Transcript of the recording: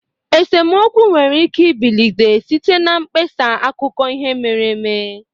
Esemokwu nwere ike ibilite site na mkpesa akụkọ ihe mere eme.